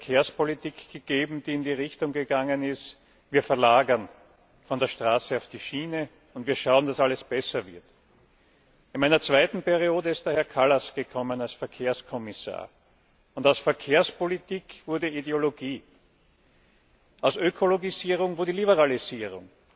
Da hat es Verkehrspolitik gegeben, die in die Richtung gegangen ist Wir verlagern von der Straße auf die Schiene, und wir schauen, dass alles besser wird. In meiner zweiten Periode kam Herr Kallas als Verkehrskommissar, und aus Verkehrspolitik wurde Ideologie, aus Ökologisierung wurde Liberalisierung,